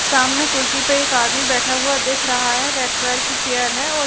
सामने कुर्सी पे एक आदमी बैठा हुआ दिख रहा है रेड कलर की चेयर है और--